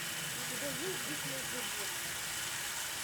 у тебя есть дикие животные